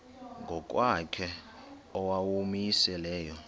ngokwakhe owawumise layo